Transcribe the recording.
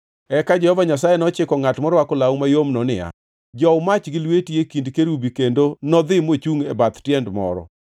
Eka Jehova Nyasaye nochiko ngʼat morwako law mayomno niya, “Jow mach gi lweti e kind kerubi,” kendo nodhi mochungʼ e bath tiend moro.